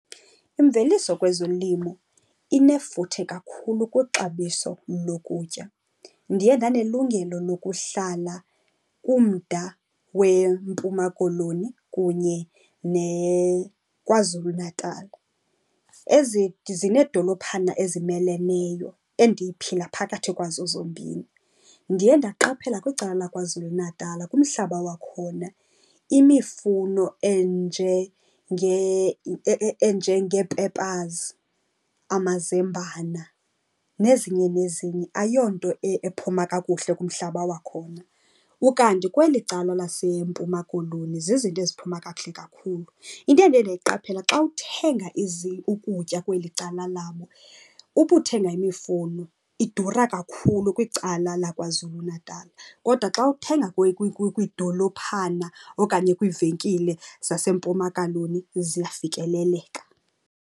Imveliso kwezolimo inefuthe kakhulu kwixabiso lokutya. Ndiye ndanelungelo lokuhlala kumda weMpuma Koloni kunye neKwaZulu-Natal. Ezi zineedolophana ezimeleneyo endiphila phakathi kwazo zombini. Ndiye ndaqaphela kwicala laKwaZulu-Natal kumhlaba wakhona, imifuno enjengee-peppers, amazambana nezinye nezinye ayiyonto ephuma kakuhle kumhlaba wakhona. Ukanti kweli cala laseMpuma Koloni zizinto eziphuma kakuhle kakhulu. Into endiye ndayiqaphela xa uthenga ukutya kweli cala labo, ukuthenga imifuno idura kakhulu kwicala laKwaZulu-Natal. Kodwa xa uthenga kwiidolophana okanye kwiivenkile zaseMpuma Koloni ziyafikeleleka.